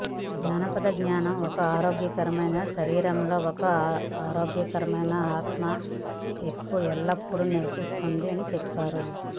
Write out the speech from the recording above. జానపద జ్ఞానం ఒక ఆరోగ్యకరమైన శరీరం లో ఒక ఆరోగ్యకరమైన ఆత్మ ఎల్లప్పుడూ నివసిస్తుంది చెప్పారు